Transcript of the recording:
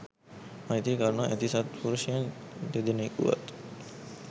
මෛත්‍රී කරුණා ඇති සත් පුරුෂයන් දෙදෙනෙකුවත්